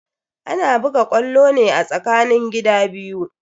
Ana buga ƙwallo ne a tsakanin gida biyu.